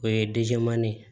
O ye ye